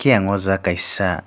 khe ang o jaga kaisa--